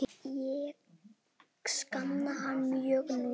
Ég sakna hans mjög nú.